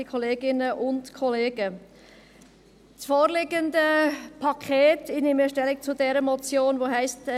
Das vorliegende Paket – ich nehme Stellung zur Motion, welche heisst: